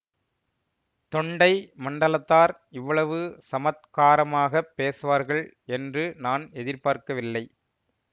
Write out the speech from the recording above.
தொண்டை மண்டலத்தார் இவ்வளவு சமத்காரமாகப் பேசுவார்கள் என்று நான் எதிர்பார்க்கவில்லை